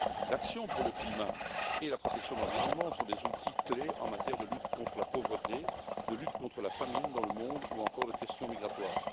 L'action pour le climat et la protection de l'environnement sont des outils clés en matière de lutte contre la pauvreté, de lutte contre la famine dans le monde, ou encore en matière de questions migratoires.